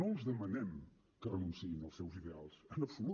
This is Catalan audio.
no els demanem que renunciïn als seus ideals en absolut